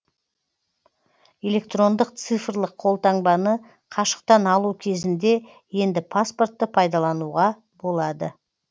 электрондық цифрлық қолтаңбаны қашықтан алу кезінде енді паспортты пайдалануға болады